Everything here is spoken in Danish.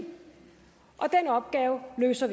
og den opgave løser